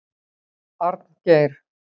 Arngeir